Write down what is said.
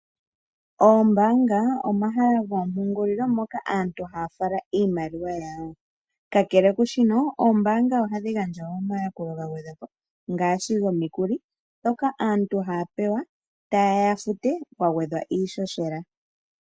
Oombaanga omahala goompungulilo moka aantu haya fala iimaliwa yawo. Kakele kushino oombaanga ohadhi gandja omayakulo ngaashi gomikuli ndhoka aantu haya pewa tayeya ya fute kwa gwedhwa iishoshela.